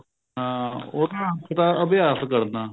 ਹਾਂ ਉਹਦਾ ਮਤਲਬ ਤਾ ਅਭਿਆਸ ਕਰਨਾ